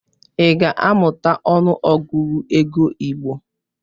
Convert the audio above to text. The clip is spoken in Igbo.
Ị ga-amụta ọnụ Ọgụgụ ego igbo!